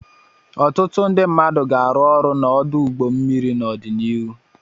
Ọtụtụ ndị mmadụ ga-arụ ọrụ n'ọdụ ụgbọ mmiri n'ọdịnihu.